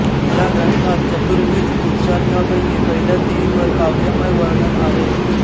या ग्रंथात चतुर्विध पुरुषार्थापैकी पहिल्या तिहींवर काव्यमय वर्णन आहे